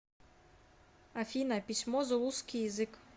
афина письмо зулусский язык